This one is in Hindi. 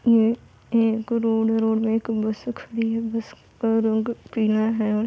ये एक रोड है| रोड में एक बसे खड़ी है| बस का रंग पीला है और --